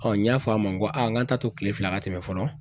n y'a fɔ a ma n ko aa , an ta to kile fila ka tɛmɛ fɔlɔ?